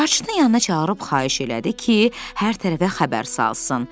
Carçını yanına çağırıb xahiş elədi ki, hər tərəfə xəbər salsın.